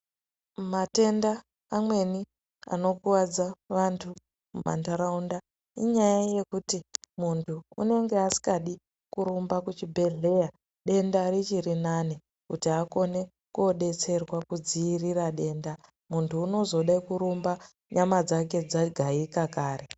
Matenda amweni anokuwadza vanthu mamanharaunda inyaya yekuti munthu unenge asingadi kurumba kuchibhedhleya denda richiri nani munthu unozode kurumba nyama dzake dzagaika kare.